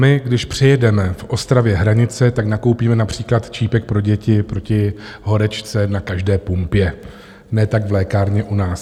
My když přejedeme v Ostravě hranice, tak nakoupíme například čípek pro děti proti horečce na každé pumpě, ne tak v lékárně u nás.